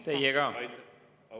Teie ka!